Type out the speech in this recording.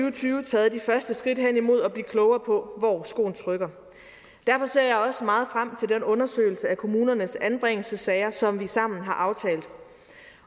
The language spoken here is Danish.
og tyve taget de første skridt hen imod at blive klogere på hvor skoen trykker derfor ser jeg også meget frem til den undersøgelse af kommunernes anbringelsessager som vi sammen har aftalt